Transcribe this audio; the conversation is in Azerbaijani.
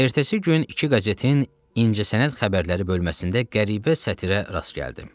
Ertəsi gün iki qəzetin incəsənət xəbərləri bölməsində qəribə sətrə rast gəldim.